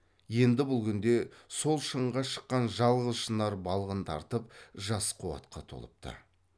енді бұл күнде сол шыңға шыққан жалғыз шынар балғын тартып жас қуатқа толыпты